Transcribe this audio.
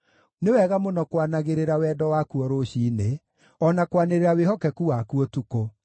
nĩ wega mũno kwanagĩrĩra wendo waku o rũciinĩ, o na kwanĩrĩra wĩhokeku waku ũtukũ,